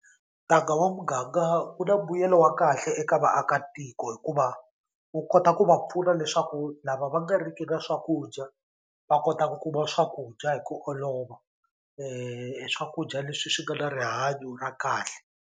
Ntanga wa muganga wu na mbuyelo wa kahle eka vaakatiko hikuva wu kota ku va pfuna leswaku lava va nga ri ki na swakudya va kota ku kuma swakudya hi ku olova swakudya leswi swi nga na rihanyo ra kahle.